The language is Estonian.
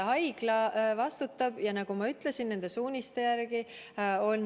Haigla vastutab ja, nagu ma ütlesin, nende suuniste järgi.